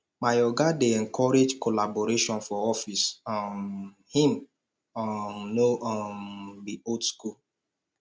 my oga dey encourage collaboration for office um im um no um be old skool